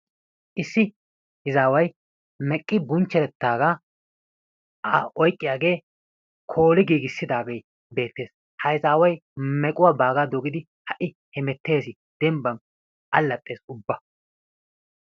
Issi izaaway meqqi bunchcherettaaga a oyqqiyagee kooli giigissidaagee beettees. Ha izaaway mequwaa baaga dogidi ha'i hemettees, dembban alaxxees ubba.